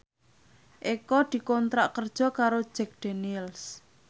Eko dikontrak kerja karo Jack Daniels